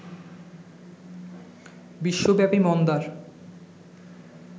বিশ্বব্যাপী মন্দার